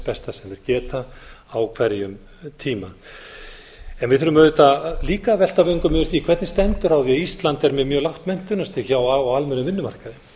besta sem þeir geta á hverjum tíma við þurfum auðvitað líka að velta vöngum yfir því hvernig stendur á því að ísland er með mjög lágt menntunarstig á almennum vinnumarkaði af hverju